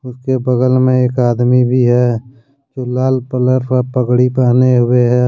उसके बगल में एक आदमी भी है जो लाल कलर का पगड़ी पहने हुए है।